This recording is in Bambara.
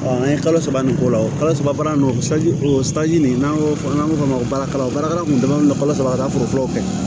an ye kalo saba nin k'o la o kalo saba baara nɔ o nin n'an y'o fɔ n'an b'a f'o ma baarakalan baarakɛla kun damande kalo sɔrɔ ka taa foro kɛ